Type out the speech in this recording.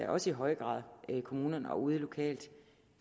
også i høj grad kommunerne og ude lokalt